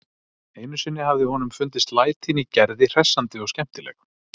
Einu sinni hafði honum fundist lætin í Gerði hressandi og skemmtileg.